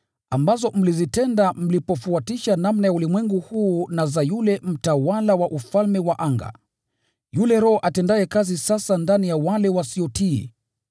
ambazo mlizitenda mlipofuatisha namna ya ulimwengu huu na za yule mtawala wa ufalme wa anga, yule roho atendaye kazi sasa ndani ya wale wasiotii.